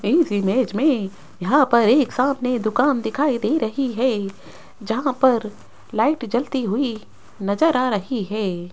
इस इमेज में यहां पर एक सामने दुकान दिखाई दे रही है जहां पर लाइट जलती हुई नजर आ रही है।